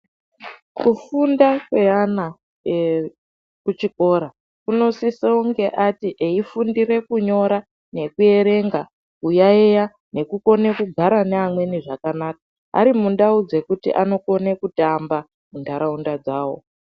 Kufunda kweana ekuchikora kunosisonge ati eifundire kunyora, nekuerenga, kuyaeya ,nekugara neamweni zvakanaka, ari mundau dzekuti anokone kutamba, ari muntaraunda dzavo.